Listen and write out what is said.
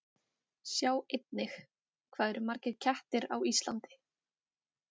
Sjá einnig: Hvað eru margir kettir á Íslandi?